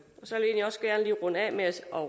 og